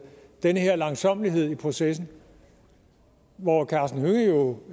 den her langsommelighed i processen hvor